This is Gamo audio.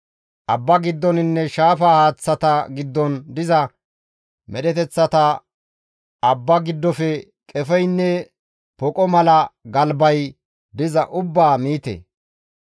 « ‹Abba giddoninne shaafa haaththata giddon diza medheteththata abba giddofe qefeynne poqo mala galbay diza ubbaa miite.